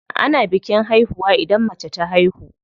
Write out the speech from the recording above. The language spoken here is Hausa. Ana bikin haihuwa idan mace ta haihu.